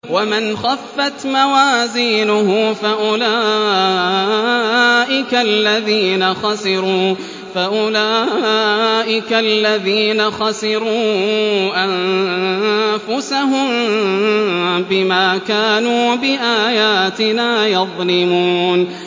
وَمَنْ خَفَّتْ مَوَازِينُهُ فَأُولَٰئِكَ الَّذِينَ خَسِرُوا أَنفُسَهُم بِمَا كَانُوا بِآيَاتِنَا يَظْلِمُونَ